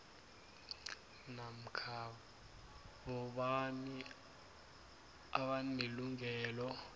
namkha bobani abanelungelo